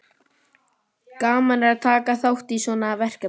Magnús Hlynur Hreiðarsson: Gaman að taka þátt í svona verkefni?